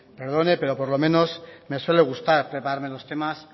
perdone pero por lo menos me suele gustar prepararme los temas